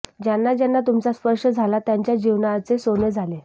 ज्यांना ज्यांना तुमचा स्पर्श झाला त्यांच्या जीवनाचे सोने झाले